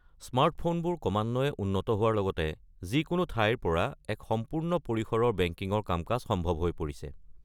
স্মাৰ্টফোনবোৰ ক্ৰমান্বয়ে উন্নত হোৱাৰ লগতে যিকোনো ঠাইৰ পৰা এক সম্পূৰ্ণ পৰিসৰৰ বেংকিংৰ কাম-কাজ সম্ভৱ হৈ পৰিছে।